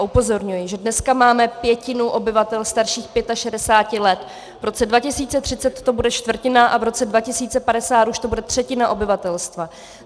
Upozorňuji, že dneska máme pětinu obyvatel starších 65 let, v roce 2030 to bude čtvrtina a v roce 2050 to už bude třetina obyvatelstva.